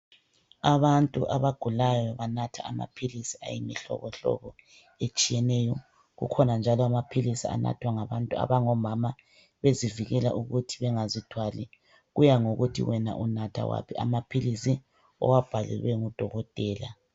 Abantu abagulayo banatha amaphilisi ayimihlobo hlobo etshiyeneyo kukhona njalo amaphilisi anathwa ngabantu abangomama bezivikela ukuthi bengazithwali kuyangokuthi wena unatha waphi amaphilisi owabhalelwe ngudokotela.